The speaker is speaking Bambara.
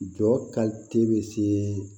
Jɔ bɛ se